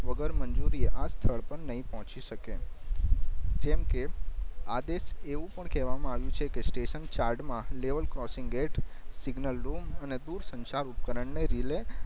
વગર મંજૂરી એ આ સ્થળ પર નઇ પોચી સકે જેમ કે આદેશ એવું પણ કેવામાં આવ્યું છે કે સ્ટેશન ચાર્ડ માં લેવલ ક્રૉસિંગે એટ સિગ્નલ રૂમ અને દૂરસંચાર ઉપકરણ ની રિલે